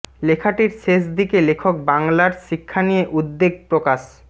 লেখাটির শেষ দিকে লেখক বাংলার শিক্ষা নিয়ে উদ্বেগ প্রকাশ